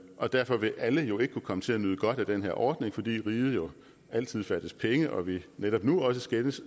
og derfor vil alle jo ikke kunne komme til at nyde godt af den her ordning fordi riget jo altid fattes penge og vi netop nu også skændes